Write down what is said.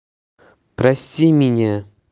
прости меня